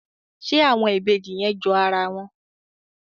ṣe àwọn Ìbejì yẹn jọ ara wọn?